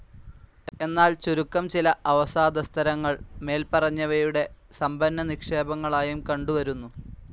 എന്നാൽ ചുരുക്കം ചില അവസാദസ്തരങ്ങൾ മേല്പറഞ്ഞവയുടെ സമ്പന്നനിക്ഷേപങ്ങളായും കണ്ടുവരുന്നു.